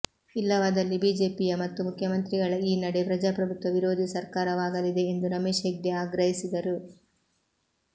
ಇಲ್ಲವಾದಲ್ಲಿ ಬಿಜೆಪಿಯ ಮತ್ತು ಮುಖ್ಯಮಂತ್ರಿಗಳ ಈ ನಡೆ ಪ್ರಜಾಪ್ರಭುತ್ವ ವಿರೋಧಿ ಸರ್ಕಾರವಾಗಲಿದೆ ಎಂದು ರಮೇಶ್ ಹೆಗ್ಡೆ ಆಗ್ರಹಿಸಿದರು